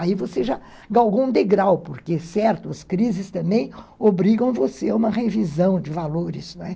Aí você já galgou um degrau, porque, certo, as crises também obrigam você a uma revisão de valores, não é?